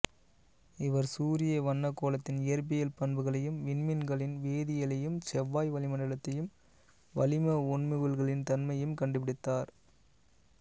இவர் சூரிய வண்னக்கோளத்தின் இயற்பியல் பண்புகளையும் விண்மீன்களின் வேதியியலையும் செவ்வாய் வளிமன்டலத்தையும் வளிம ஒண்முகில்களின் தன்மையையும் கன்டுபிடித்தார்